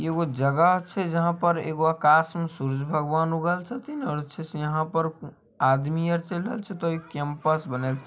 ये वो जगह छै जहां पर एगो आकाश में सूर्ज भगवान उगल छथिनअच्छे से यहां पर आदमी आर चेल रहल छै कैम्पस जाना बनल छै।